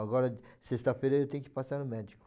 Agora, sexta-feira eu tenho que passar no médico.